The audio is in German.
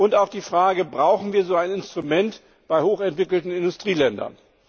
Nun zu der Frage Brauchen wir so ein Instrument bei hochentwickelten Industrieländern?